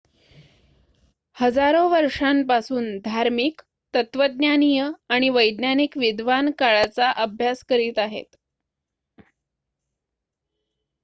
हजारो वर्षांपासून धार्मिक तत्वज्ञानीय आणि वैज्ञानिक विद्वान काळाचा अभ्यास करीत आहेत